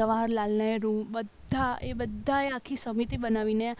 જવાહરલાલ નહેરુ બધાએ બધાએ આખી સમિતિ બનાવીને